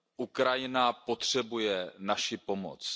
Ukrajina potřebuje naši pomoc.